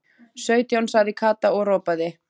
Sautján sagði Kata og ropaði.